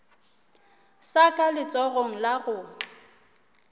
sa ka letsogong la go